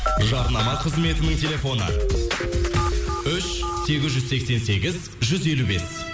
жарнама қызметінің телефоны үш сегіз жүз сексен сегіз жүз елу бес